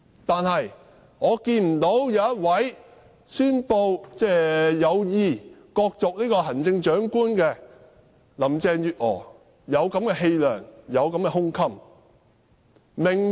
但是，我看不到宣布有意角逐行政長官的林鄭月娥有此氣量和胸襟。